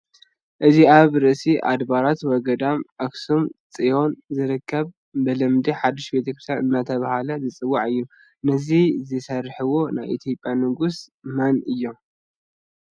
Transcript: እዚ ኣብ ርእሰ ኣድባራት ወገዳማት ኣኽሱም ፅዮን ዝርከብ ብልምዲ ሓዱሽ ቤተ ክርቲያን እናተባህለ ዝፅዋዕ እዩ፡፡ ነዚ ዘስርሕዎ ናይ ኢትዮጵያ ንጉሥ መን እዮም?